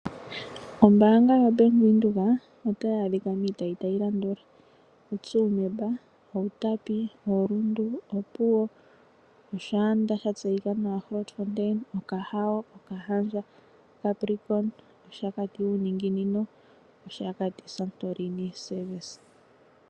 Ombaanga yoBank Windhoek otayi adhika miitayi tayi landula: oTsumeb, Outapi, oRundu, Opuwo, Oshaanda sha tseyika nawa Grootfontein, Okahao, Okahandja, Capricorn, Oshakati shokuumbangalantu nOshakati Santorini Service.